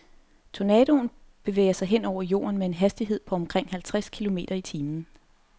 Tornadoen bevæger sig hen over jorden med en hastighed på omkring halvtreds kilometer i timen.